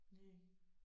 Næ